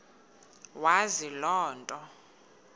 wazi loo nto